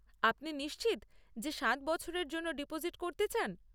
আপনি নিশ্চিত যে সাত বছরের জন্য ডিপোজিট করতে চান?